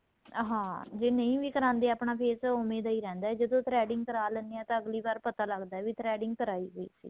ਹਾਂ ਜੇ ਨਹੀਂ ਵੀ ਕਰਾਦੇ ਆਪਣਾਂ face ਉਵੇਂ ਦਾ ਹੀ ਰਹਿੰਦਾ ਜਦੋਂ threading ਕਰਾ ਲੈਣੇ ਹਾਂ ਤਾਂ ਅੱਗਲੀ ਵਾਰ ਪਤਾ ਲੱਗਦਾ ਵੀ threading ਕਰਾਈ ਹੋਈ ਸੀ